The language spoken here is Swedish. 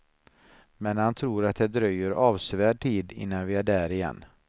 Men han tror att det dröjer avsevärd tid innan vi är där igen.